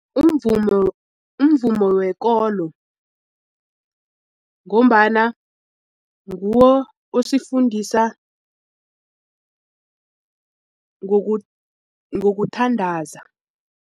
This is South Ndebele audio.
Umvumo umvumo wekolo ngombana nguwo osifundisa ngokuthandandaza.